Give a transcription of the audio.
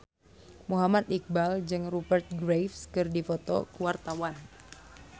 Muhammad Iqbal jeung Rupert Graves keur dipoto ku wartawan